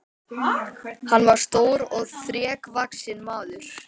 Hann var stór og þrekvaxinn maður.